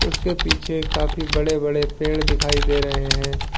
उसके पीछे काफी बड़े बड़े पेड़ दिखाई दे रहे है।